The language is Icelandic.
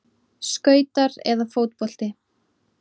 Skautar eða fótbolti?